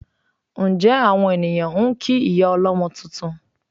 Ǹjẹ́ àwọn ènìyàn ń kí ìyá ọlọ́mọ tuntun?